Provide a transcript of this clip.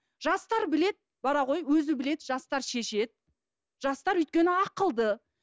жастар біледі бара ғой өзі біледі жастар өзі шешеді жастар өйткені ақылды